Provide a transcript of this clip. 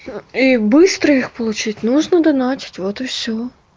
и быстро их получить нужно донатить вот и всё